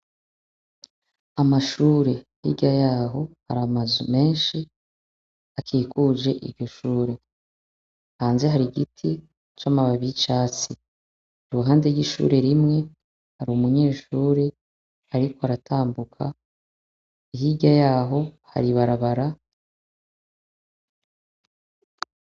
Amashure, hirya y'aho hari amazu menshi akikuje iryo shure. Hanze hari igiti c'amababi c'icatsi. Iruhande y'ishure rimwe, umunyeshure ariko aratambuka, hirya y'aho hari ibarabara.